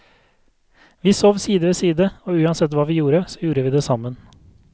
Vi sov side ved side, og uansett hva vi gjorde så gjorde vi det sammen.